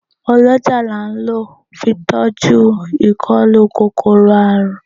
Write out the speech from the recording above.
Ọlọ́jàá la ń lọ fi tọ́jú ìkólú kòkòrò àrùn.